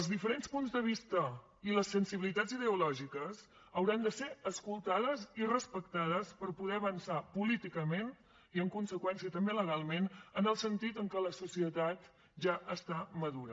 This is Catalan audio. els diferents punts de vista i les sensibilitats ideològiques hauran de ser escoltades i respectades per poder avançar políticament i en conseqüència també legalment en el sentit en què la societat ja està madura